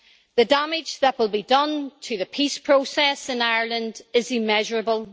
The damage that will be done to the peace process in Ireland is immeasurable.